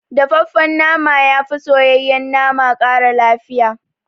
Dafaffen nama yafi soyayyen nama ƙara lafiya